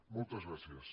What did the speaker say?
moltes gràcies